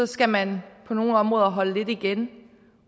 skal man på nogle områder holde lidt igen